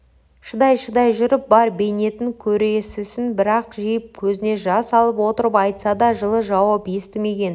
шыдай-шыдай жүріп бар бейнетін көресісін бір-ақ жиып көзіне жас алып отырып айтса да жылы жауап естімеген